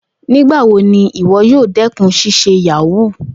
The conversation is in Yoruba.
Nigbawo ni iwọ yoo dẹkun ṣiṣe yahoo?